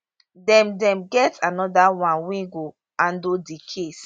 dem dem get anoda one wey go handle di case